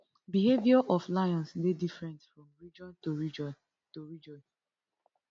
behaviour of lions dey different from region to region to region